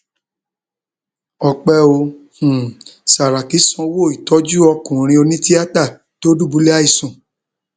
ọpẹ ò um sàràkí sanwó ìtọjú ọkùnrin onítìátà tó dùbúlẹ àìsàn